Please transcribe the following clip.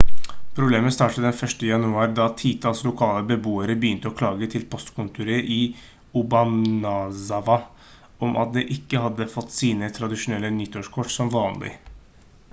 problemet startet den 1. januar da titalls lokale beboere begynte å klage til postkontoret i obanazawa om at de ikke hadde fått sine tradisjonelle nyttårskort som vanlig